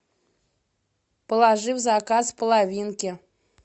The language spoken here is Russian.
положи в заказ половинки